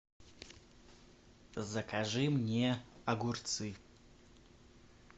закажи мне огурцы